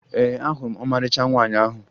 Ee, ahụrụ m ọmarịcha nwaanyị ahụ